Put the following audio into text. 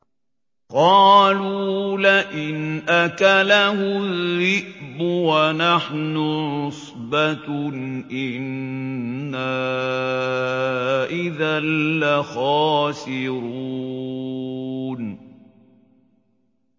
قَالُوا لَئِنْ أَكَلَهُ الذِّئْبُ وَنَحْنُ عُصْبَةٌ إِنَّا إِذًا لَّخَاسِرُونَ